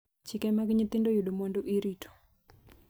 Chike mag nyithindo yudo mwandu irito